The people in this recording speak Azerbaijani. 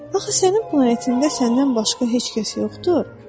Axı sənin planetində səndən başqa heç kəs yoxdur?